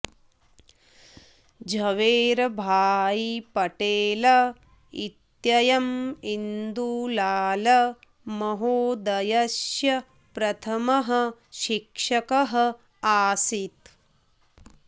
झवेरभाई पटेल इत्ययम् इन्दुलाल महोदयस्य प्रथमः शिक्षकः आसीत्